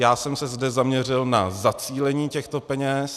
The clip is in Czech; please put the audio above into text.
Já jsem se zde zaměřil na zacílení těchto peněz.